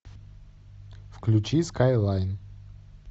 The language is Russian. включи скайлайн